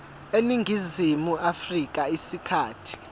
eningizimu afrika isikhathi